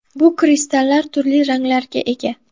Bu kristallar turli ranglarga ega.